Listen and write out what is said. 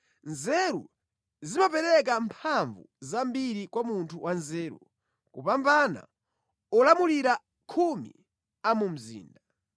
Nzeru zimapereka mphamvu zambiri kwa munthu wanzeru kupambana olamulira khumi a mu mzinda.